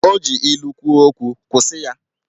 O ji ilu kwuo okwu, kwụsị ya!